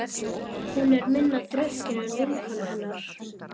Hún er minna drukkin en vinkona hennar.